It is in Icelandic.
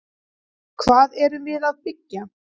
Hvað erum við að byggja?